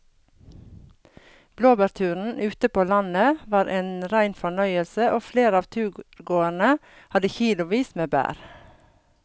Blåbærturen ute på landet var en rein fornøyelse og flere av turgåerene hadde kilosvis med bær.